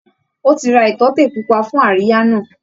Ó ti ra ìtọ́tè pupa fún àríyá náà